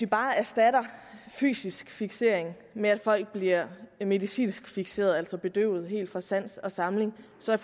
bare erstatter fysisk fiksering med at folk bliver medicinsk fikseret altså bedøvet helt fra sans og samling så er